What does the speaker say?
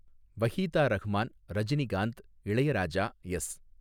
Waheeda Rehman, Rajinikanth, Ilaiyaraaja, S.